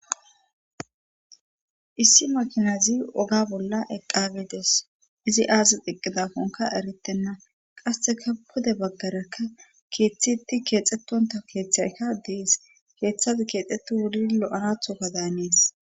issi makinazi oga bolla eqqagedees izi aazi xiqqidafonka erettenna qasseka pude baggarakka keeththitti keexxettonta keeththayka dees keeththazi keexxettu wuli lo7anathoka daanees